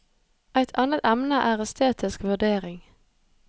Et annet emne er estetisk vurdering.